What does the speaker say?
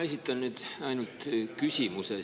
Ma esitan nüüd ainult küsimuse.